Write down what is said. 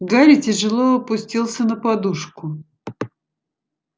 гарри тяжело опустился на подушку